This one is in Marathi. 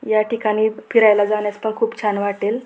या ठिकाणी फिरायला जाण्यास खूप छान वाटेल.